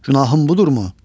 Günahım budurmu?